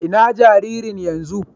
Inna jaririn yanzun?